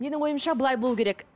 менің ойымша былай болу керек